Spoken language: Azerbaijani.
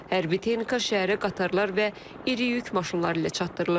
Hərbi texnika şəhərə qatarlar və iri yük maşınları ilə çatdırılır.